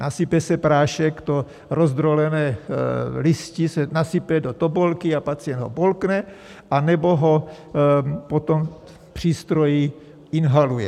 Nasype se prášek, to rozdrolené listí se nasype do tobolky a pacient ho polkne, anebo ho potom v přístroji inhaluje.